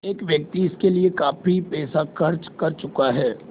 एक व्यक्ति इसके लिए काफ़ी पैसा खर्च कर चुका है